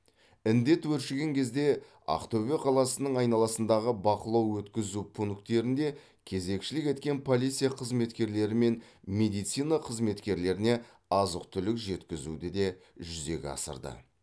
індет өршіген кезде ақтөбе қаласының айналасындағы бақылау өткізу пункттерінде кезекшілік еткен полиция қызметкерлері мен медицина қызметкерлеріне азық түлік жеткізуді де жүзеге асырды